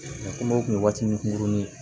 Kɔmɔkili waati nun furunin